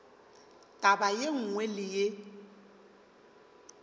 taba ye nngwe le ye